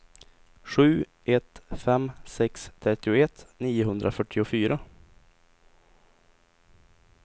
sju ett fem sex trettioett niohundrafyrtiofyra